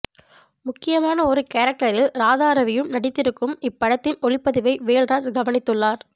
முக்கியமான ஒரு கேரக்டரில் ராதாரவியும் நடித்திருக்கும் இப்படத்தின் ஒளிப்பதிவை வேல்ராஜ் கவனித்துள்ளார்